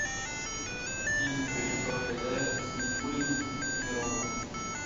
фильм режиссера гайдая с никулиным и мироновым